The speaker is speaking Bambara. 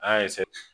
An y'a